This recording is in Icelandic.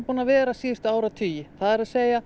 búin að vera í áratugi það er